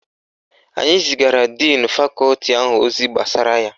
Anyi zigara díìnu Fakọti ahụ ozi gbasara ya.